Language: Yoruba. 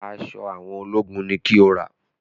Aṣọ àwọn ológun ni kí o rà!